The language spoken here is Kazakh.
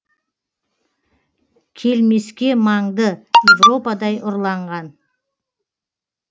келмеске маңды европадай ұрланған